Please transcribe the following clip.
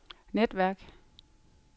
netværk